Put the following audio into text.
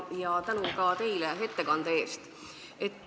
Ja tänu ka teile ettekande eest!